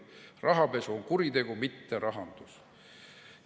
Rahapesu on kuritegu, mitte rahandus.